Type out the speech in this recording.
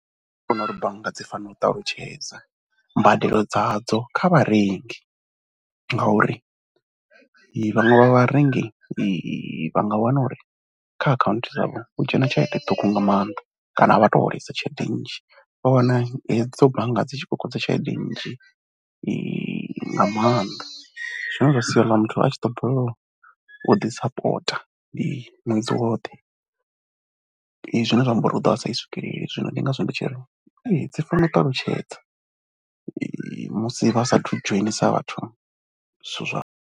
Nṋe ndi vhona uri bannga dzi fanela u ṱalutshedza mbadelo dzadzo kha vharengi ngauri vhaṅwe vha vharengi vha nga wana uri kha akhaunthu dzavho hu dzhena tshelede ṱhukhu nga maanḓa kana a vha tou holesa tshelede nnzhi. Vha wana hedzo bannga dzi tshi kokodza tshelede nnzhi nga maanḓa zwine zwa sia houḽa muthu a tshi ḓo balelwa u ḓi sapotha ndi ṅwedzi woṱhe, zwine zwa amba uri u ḓo vha sa i swikeleli. Zwino ndi ngazwo tshi ri dzi fanela u ṱalutshedza musi vha saathu dzhenisa vhathu zwithu zwavho.